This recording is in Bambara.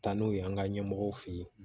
Taa n'u ye an ka ɲɛmɔgɔw fe ye